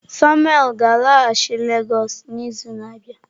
Samuel ga-alaghachi Lagos n'izu na-abịa.